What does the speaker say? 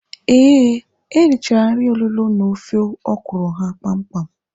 Ee, ha richara nri olulo na ofe ọkwụrụ ha kpam kpam.